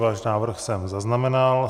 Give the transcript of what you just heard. Váš návrh jsem zaznamenal.